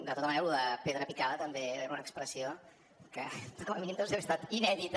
de tota manera lo de pedra picada també era una expressió que com a mínim deu haver estat inèdita